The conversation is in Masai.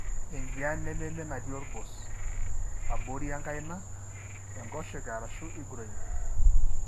Enjian nememee nati olgos. abori enkaina. enkoshoke ashu egroin.